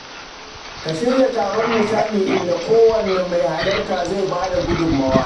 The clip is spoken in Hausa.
Ka shirya taron nishaɗi inda kowane mai halarta zai bada gudummawa.